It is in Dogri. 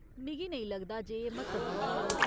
मिगी नेईं लगदा जे एह् म्हत्तवपूर्ण ऐ।